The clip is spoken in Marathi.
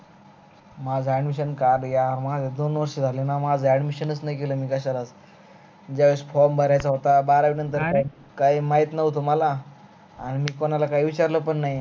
माझां admission काढ यार माझ दोन वर्ष झालन माझ admission नाही केल कश्याला ज्या वेळेस form भरायचं होता बारावी नंतर काही माहित न्हवत मला आणि कोणाला काही विचारल पण नाही